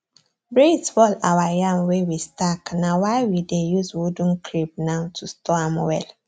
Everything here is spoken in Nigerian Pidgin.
breeze fall our yam wey we stack na why we dey use wooden crib now to store am well